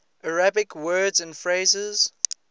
arabic words and phrases